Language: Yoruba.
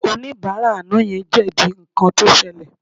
Oníbàárà àná yẹn ò jẹ̀bi nǹkan tó ṣẹlẹ̀